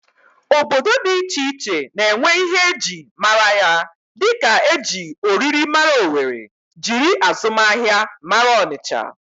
Obodo dị iche iche na-enwe ihe e ji mara ya dịka e ji oriri mara Owere, jiri azụmahịa mara Ọnịcha